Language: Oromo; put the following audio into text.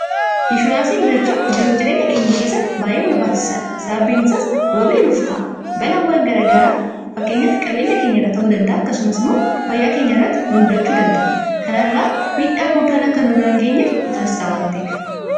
Ishuraansii bitachuun jiruuf jireenya keenya keessatti bay'ee barbaachisaadha sababbiin isaas wabii nuuf ta'a balaawwan garagaraa fakkeenyaf qabeenya keenya irra ta'uu danda'a akkasumas immoo fayyaa keenya irratti nu mudachuu danda'a kanarraa miidhaa guddaan akka nurra hin geenyeef murteessa waan ta'eef